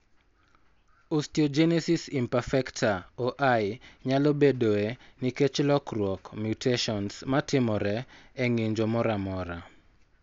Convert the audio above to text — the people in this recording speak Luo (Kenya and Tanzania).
Osteogenesis imperfecta (OI) nyalo bedoe nikech lokruok (mutations) matimore e ng'injo moro amora.